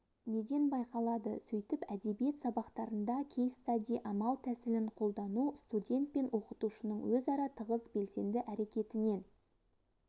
неден байқалады сөйтіп әдебиет сабақтарында кейстади амал-тәсілін қолдану студент пен оқытушының өзара тығыз белсенді әрекетінен